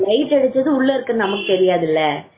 light அடிச்சதும் உள்ள இருக்கிற நமக்கு தெரியாது இல்ல